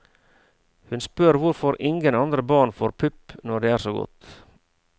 Hun spør hvorfor ingen andre barn får pupp når det er så godt.